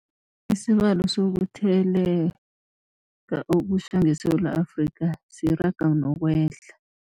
Isibalo sokutheleleka okutjha ngeSewula Afrika siyaraga nokwehla.